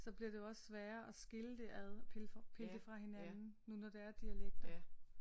Så bliver det jo også sværere at skille det ad pille det fra hinanden nu når det er dialekter